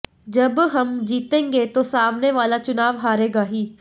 जब हम जीतेंगे ताे सामने वाला चुनाव हारेगा ही